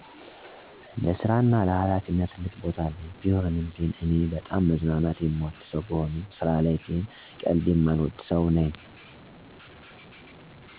ለስራ እና ለሀላፊነት ትልቅ ቦታ አለኝ። ቢሆንም ግን እኔ በጣም መዝናናት የምወድ ሰው ብሆንም ስራ ላይ ግን ቀልድ የማልወድ ሰው ነኝ። የስራ እና የጨዋታ ቦታ በደንብ ለይቼ ማውቅ፤ ትጉህ ሰራተኝ፤ ለስራው ክብር ያለው አይነትሰው ነኝ። ሁለቱንም በአግባብ ግን ለጎን የማስኬድ ጎበዝ እና ብልህ ሰው ነኝ። ስራየን ፅፌ ስለምሰራ ስጨርስ ብቻ ነው ጨዋታን የምቀጥለው። በስራ ሰአት የምቀልድ ቦዘኔ አይነት ሰው አይደለሁም።